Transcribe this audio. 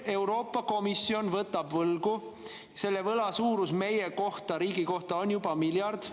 Euroopa Komisjon võtab võlgu, selle võla suurus meie kohta, riigi kohta, on juba miljard.